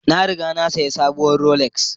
Na riga na sayi sabuwar Rolex